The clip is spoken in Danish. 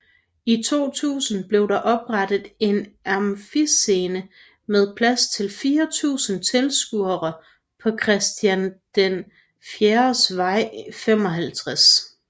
I 2000 blev der oprettet en Amfiscene med plads til 4000 tilskuere på Christian IVs Vej 55